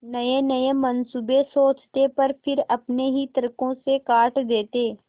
नयेनये मनसूबे सोचते पर फिर अपने ही तर्को से काट देते